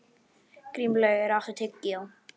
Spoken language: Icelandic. Grímlaugur, áttu tyggjó?